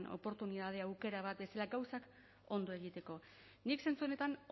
oportunitate aukera bat bezala gauzak ondo egiteko nik zentzu honetan